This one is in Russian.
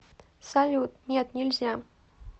салют нет нельзя